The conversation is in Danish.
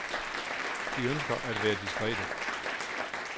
De ønsker at være diskrete.